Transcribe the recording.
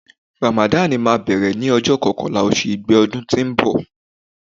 Ràmàdàn máa bẹ̀rẹ̀ ní ọjọ́ kọkànlá oṣù igbe ọdún tó ń bọ̀.